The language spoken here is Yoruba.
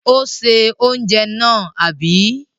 Ó se oúnjẹ náà, àbí?